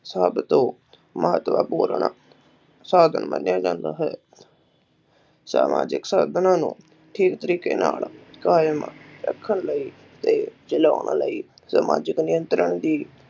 ਸਭ ਤੋਂ ਮਹੱਤਵਪੂਰਨ ਸਾਧਨ ਮੰਨਿਆ ਜਾਂਦਾ ਹੈ ਸਮਾਜਿਕ ਸਾਧਨਾ ਨੂੰ ਠੀਕ ਤਰੀਕੇ ਨਾਲ ਕਾਇਮ ਰੱਖਣ ਲਈ ਤੇ ਚਲਾਉਣ ਲਈ ਸਮਾਜਿਕ ਨਿਯੰਤਰਣ ਦੀ